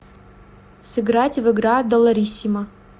сыграть в игра долларисимо